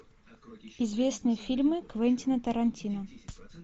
известные фильмы квентина тарантино